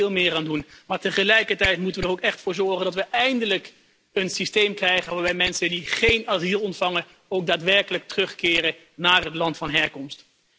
Daar moeten we veel meer aan doen, maar tegelijkertijd moeten we er ook echt voor zorgen dat we eindelijk een systeem krijgen waarbij mensen die geen asiel ontvangen ook daadwerkelijk terugkeren naar het land van herkomst.